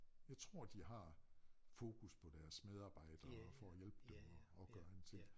Jeg tror de har fokus på deres medarbejdere for at hjælpe dem og og gøre en ting